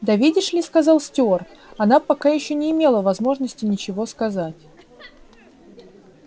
да видишь ли сказал стюарт она пока ещё не имела возможности ничего сказать